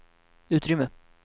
utrymme